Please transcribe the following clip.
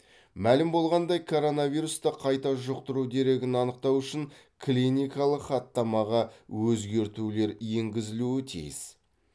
мәлім болғандай коронавирусты қайта жұқтыру дерегін анықтау үшін клиникалық хаттамаға өзгертулер енгізілуі тиіс